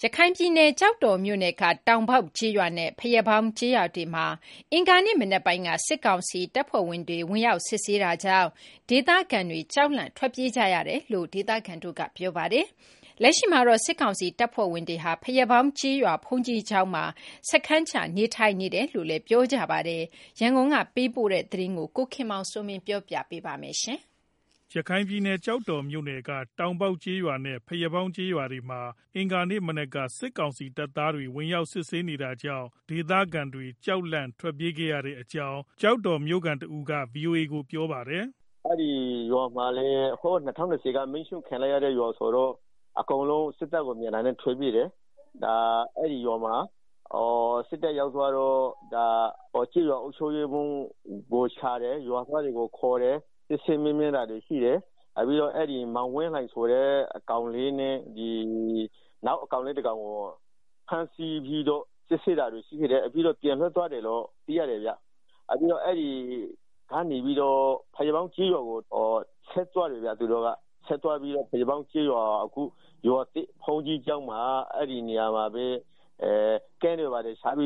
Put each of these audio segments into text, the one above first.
ရခိုင်ပြည်နယ် ကျောက်တော်မြို့နယ်က တောင်ပေါက်ကျေးရွာနဲ့ ဘုရားပေါင်းကျေးရွာတွေမှာ ဒီကနေ့ မနက်ပိုင်းက စစ်ကောင်စီတပ်သားတွေ ဝင်ရောက်စစ်ဆေးနေတာကြောင့် ဒေသခံတွေ ကြောက်လန့်ထွက်ပြေးနေကြရတယ်လို့ ဒေသခံတွေကပြောပါတယ်။ လက်ရှိမှာတော့ စစ်ကောင်စီတပ်သားတွေဟာ ဘုရားပေါင်းကျေးရွာ ဘုန်းကြီးကျောင်းမှာ စခန်းချနေထိုင်နေတယ်လို့ ဒေသခံတွေက ပြောပါတယ်။ ဒီအကြောင်းအပြည့်အစုံကိုတော့ ရန်ကုန်ကလာတဲ့သတင်း ကိုခင်မောင်စိုးမင်း က တင်ပြပေးပါမယ်။ ရခိုင်ပြည်နယ် ကျောက်တော်မြို့နယ်က တောင်ပေါက်ကျေးရွာနဲ့ ဘုရားပေါင်းကျေးရွာတွေမှာ အင်္ဂါနေ့မနက်က စစ်ကောင်စီတပ်သားတွေ ဝင်ရောက်စစ်ဆေးနေတာကြောင့် ဒေသခံတွေ ကြောက်လန့်ထွက်ပြေးခဲ့ရတဲ့အကြောင်း ကျောက်တော်မြို့ခံတဦးက VOA ကို ပြောပါတယ်။ “ အဲဒီရွာတွေက ၂၀၂၀က မီးရှို့ခံရတဲ့ ရွာဆိုတော့ အကုန်လုံး စစ်တပ်ကို မြင်တာနဲ့ ထွက်ပြေးတယ်။ အဲဒီမှာ စစ်တပ်ရောက်သွားတော့ ကျေးရွာအုပ်ချုပ်ရေးမှူးကိုရှာတယ်။ စစ်ဆေးမေးမြန်းတာရှိတယ်။ ပြီးတော့ မောင်ဝင်းလှိုင်ဆိုတဲ့ ကောင်လေးနဲ့ နောက်ကောင်လေးတကောင်ကို ဖမ်းဆီးပြီးတော့ စစ်တယ်။ ပြီးတော့ ပြန်လွတ်ပေးလိုက်တယ်ဗျာ။ အခုတော့ ဘုရားပေါင်း ကျေးရွာဖက်ကိုထွက်သွားတယ်။ အဲဒီရွာက ဘုန်းကြီးကျောင်းမှာ စခန်းချပြီး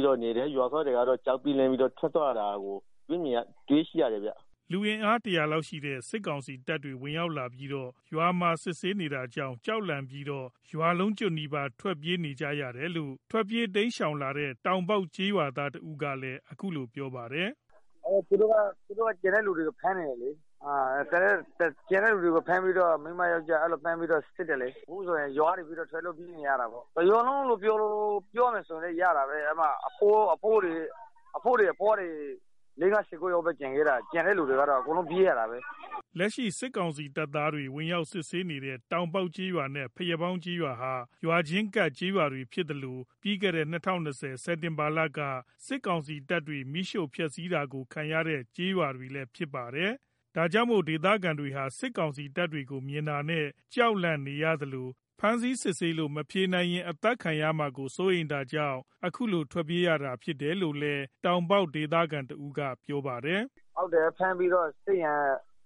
တော့ နေတယ်။ ဘုရားပေါင်း ကျေးရွာသားတွေလည်း ကြောက်ပြီးတော့ ထွက်ပြေးသွားတာကိုတွေ့ရတယ်ဗျ။” လူအင်အား တရာလောက်ရှိတဲ့ စစ်ကောင်စီတပ်တွေ ဝင်ရောက်ပြီးတော့ ရွာမှာ စစ်ဆေးနေတာကြောင့် ကြောက်လန့်ပြီးတော့ ရွာလုံးကျွတ်နီးပါး ထွက်ပြေးနေရတယ်လို့ ထွက်ပြေးတိမ်းရှောင်လာတဲ့ တောင်ပေါက်ကျေးရွာသားတဦးကပြောပါတယ်။ “ သူတို့က ရွာကလူတွေကို ဖမ်းတယ်လေ။ မိန်းမ ယောကျာ်းအကုန်ဖမ်းပြီးတော့ စစ်တယ်လေ။ အခုဆိုရင် ရွာကနေပြီးတော့ ထွက်လို့ပြေးနေရတာပေါ့။ တရွာလုံးလို့ ပြောလို့ရတာပေါ့။ အဘိုးတွေ အဘွားတွေ ၁၀ယောက်လောက်ပဲကျန်ခဲ့တာ။ ကျန်တဲ့သူတွေကတော့ အကုန်လုံးပြေး ရတာပါပဲ။” လက်ရှိစစ်ကောင်စီတပ်သားတွေ ဝင်ရောက်စစ်ဆေးနေတဲ့ တောင်ပေါက်ကျေးရွာနဲ့ ဘုရားပေါင်းကျေးရွာဟာ ရွာချင်းကပ်ကျေးရွာတွေ ဖြစ်သလို ပြီးခဲ့တဲ့ ၂၀၂၀ခုနှစ် စက်တင်ဘာလက စစ်ကောင်စီတပ်တွေရဲ့ မီးရှို့ဖျက်စီးတာကို ခံရတဲ့ ကျေးရွာတွေ လည်းဖြစ်ပါတယ်။ ဒါကြောင့်မို့ ဒေသခံတွေဟာ စစ်ကောင်စီတပ်တွေကို မြင်တာနဲ့ ကြောက်လန့်နေရသလို ဖမ်းဆီးစစ်ဆေးလို့ မဖြေနိုင်ရင် အသတ်ခံရမှာကို စိုးရိမ်တာကြောင့် အခုလို ထွက်ပြေးလာတာရဖြစ်တယ်လို့လည်း တောင်ပေါက်ဒေသခံတဦးက ပြောပါတယ်။ “ ဖမ်းပြီးတော့ စစ်ရင်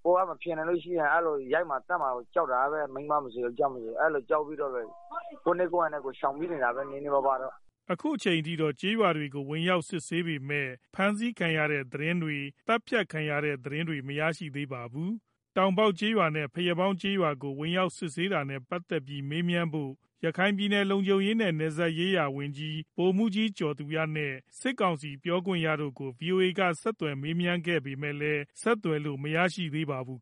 ကိုယ်ကမဖြေနိုင်ရင် ရိုက်မှာ သတ်မှာကို ကြောက်တာပဲ။ မိန်းမ ယောကျာ်းအကုန်လုံးက အဲဒါကြောင့် ကြောက်ပြီးတော့ ကိုယ့်နည်းကိုယ့်ဟန်နဲ့ ထွက်ပြေးနေရတာပါပဲ။” အခုအချိန်အထိတော့ ကျေးရွာတွေကို ဝင်ရောက်စစ်ဆေးပေမဲ့ ဖမ်းဆီးခံရတဲ့ သတင်းတွေ၊ သတ်ဖြတ်ခံရတဲ့ သတင်းတွေ မရရှိသေးပါဘူး။ တောင်ပေါက်ကျေးရွာနဲ့ ဘုရားပေါင်းကျေးရွာတွေကို ဝင်ရောက်စစ်ဆေးနေတာနဲ့ ပတ်သတ်ပြီးမေးမြန်းဖို့ ရခိုင်ပြည်နယ် လုံခြုံရေးနဲ့ နယ်စပ်ရေးရာဝန်ကြီး ဗိုလ်မှူးကြီး ကျော်သူရနဲ့ စစ်ကောင်စီပြောခွင့်ရသူကို ဗွီအိုအေက ဆက်သွယ်ခဲ့ပေမယ့်လည်း ဆက်သွယ်လို့မရရှိသေးပါဘူး